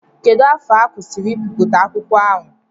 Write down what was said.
Kedụ afọ ha kwụsịri ibipụta akwụkwọ ahụ?